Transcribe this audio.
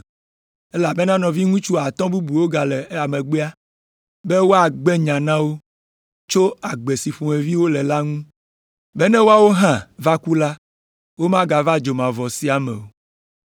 elabena nɔviŋutsu atɔ̃ bubuwo gale megbea be wòagbe nya na wo tso agbe si ƒomevi wole la ŋu be ne woawo hã va ku la, womava dzomavɔ sia me o.’